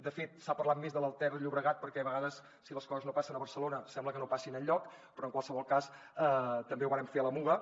de fet s’ha parlat més de la ter llobregat perquè a vegades si les coses no passen a barcelona sembla que no passin enlloc però en qualsevol cas també ho vàrem fer a la muga